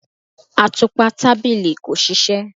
Atupa tabili ko ṣiṣẹ